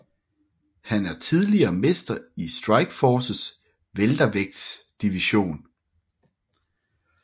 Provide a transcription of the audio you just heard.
Han er tidligere mester i Strikeforces weltervægtsdivision